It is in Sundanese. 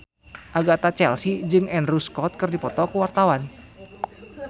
Agatha Chelsea jeung Andrew Scott keur dipoto ku wartawan